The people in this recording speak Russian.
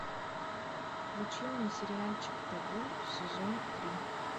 включи мне сериальчик табу сезон три